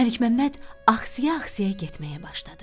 Məlik Məmməd axsiya-axsiya getməyə başladı.